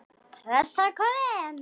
Pressan komin.